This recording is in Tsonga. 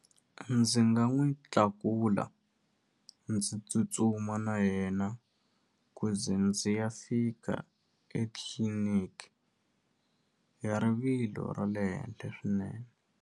Ndzi nga n'wi tlakula ndzi tsutsuma na yena ku ze ndzi ya fika etliliniki ya rivilo ra le henhle swinene.